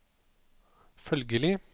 følgelig